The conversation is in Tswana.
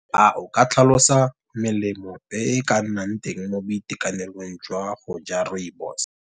A o ka tlhalosa melemo e ka nnang teng mo boitekanelong jwa go ja rooibos.